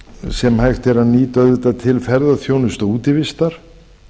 sem hægt er að nýta auðvitað til ferðaþjónustu og útivistar